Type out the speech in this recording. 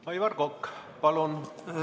Aivar Kokk, palun!